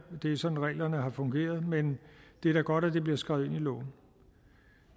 det er sådan reglerne har fungeret men det er da godt at det bliver skrevet ind i loven